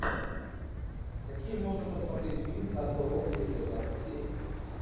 какие можно посмотреть фильм касл рок серия двадцать семь